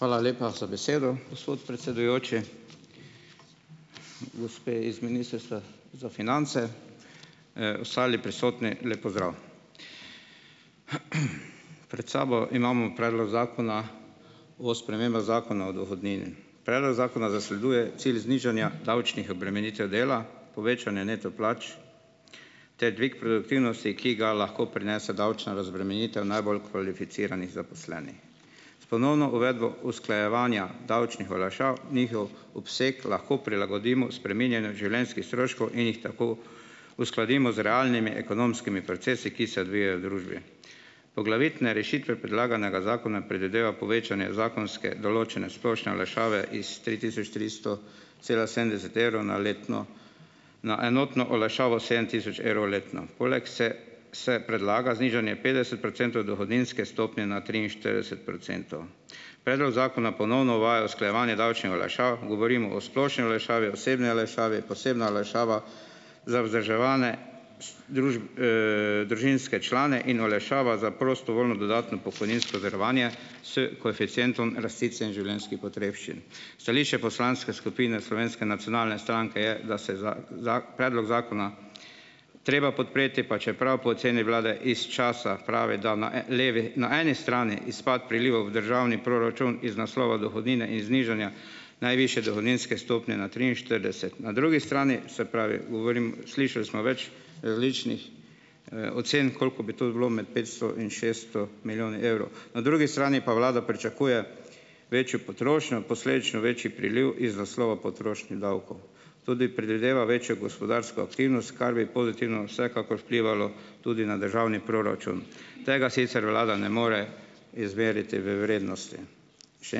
Hvala lepa za besedo, gospod predsedujoči. Gospe iz Ministrstva za finance, ostali prisotni, lep pozdrav. Pred sabo imamo Predlog zakona o spremembah Zakona o dohodnini. Predlog zakona zasleduje cilj znižanja davčnih obremenitev dela, povečanje neto plač ter dvig produktivnosti, ki ga lahko prinese davčna razbremenitev najbolj kvalificiranih zaposlenih. S ponovno uvedbo usklajevanja davčnih olajšav njihov obseg lahko prilagodimo spreminjanju življenjskih stroškov in jih tako uskladimo z realnimi ekonomskimi procesi, ki se odvijajo v družbi. Poglavitne rešitve predlaganega zakona predvideva povečanje zakonske določene splošne olajšave iz tri tisoč tristo cela sedemdeset evrov na letno, na enotno olajšavo sedem tisoč evrov letno. Poleg se se predlaga znižanje petdeset procentov dohodninske stopnje na triinštirideset procentov. Predlog zakona ponovno uvaja usklajevanje davčnih olajšav, govorimo o splošni olajšavi, osebni olajšavi, posebna olajšava za vzdrževane družinske člane in olajšava za prostovoljno dodatno pokojninsko zavarovanje s koeficientom rasti cen življenjskih potrebščin. Stališče poslanske skupine Slovenske nacionalne stranke je, da se za, predlog zakona treba podpreti, pa čeprav po oceni vlade iz časa, pravi, da na, levi, na eni strani izpad prilivov v državni proračun iz naslova dohodnine in znižanja najvišje dohodninske stopnje na triinštirideset. Na drugi strani, se pravi, govorim, slišali smo več različnih, ocen, koliko bi to bilo, med petsto in šeststo milijoni evrov. Na drugi strani pa vlada pričakuje večjo potrošnjo, posledično večji priliv iz naslova potrošnih davkov. Tudi predvideva večjo gospodarsko aktivnost, kar bi pozitivno vsekakor vplivalo tudi na državni proračun. Tega sicer vlada ne more izmeriti v vrednosti. Še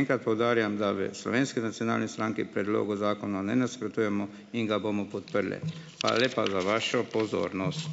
enkrat poudarjam, da v Slovenski nacionalni stranki predlogu zakona ne nasprotujemo in ga bomo podprli. Hvala lepa za vašo pozornost.